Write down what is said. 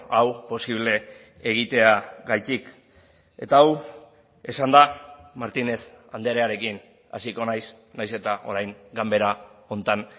hau posible egiteagatik eta hau esanda martínez andrearekin hasiko naiz nahiz eta orain ganbera honetan